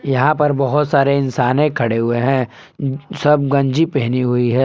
यहां पर बहोत सारे इंसाने खड़े हुए हैं सब गंजी पहनी हुई है।